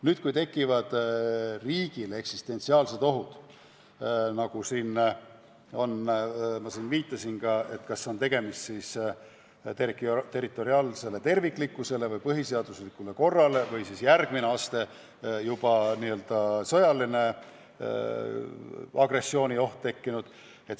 Võivad aga tekkida ka riigi seisukohast eksistentsiaalsed ohud – ma viitasin enne, et tegemist võib olla ohuga territoriaalsele terviklikkusele või põhiseaduslikule korrale või siis järgmine aste, juba sõjalise agressiooni oht.